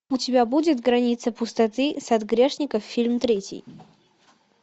у тебя будет граница пустоты сад грешников фильм третий